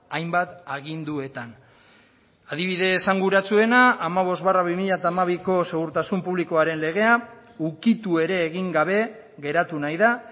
hainbat aginduetan adibide esanguratsuena hamabost barra bi mila hamabiko segurtasun publikoaren legea ukitu ere egin gabe geratu nahi da